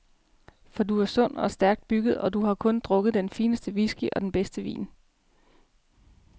For du er sund og stærkt bygget, og du har kun drukket den fineste whisky og den bedste vin.